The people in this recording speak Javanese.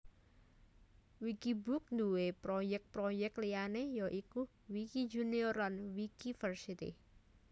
Wikibook nduwé proyèk proyèk liyané ya iku Wikijunior lan Wikiversity